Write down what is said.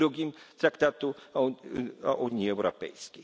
2 Traktatu o Unii Europejskiej.